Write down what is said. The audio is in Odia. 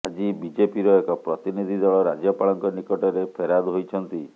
ଆଜି ବିଜେପିର ଏକ ପ୍ରତିନିଧି ଦଳ ରାଜ୍ୟପାଳଙ୍କ ନିକଟରେ ଫେରାଦ ହୋଇଛନ୍ତି